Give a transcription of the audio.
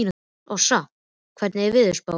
Sossa, hvernig er veðurspáin?